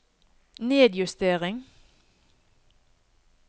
nedjustering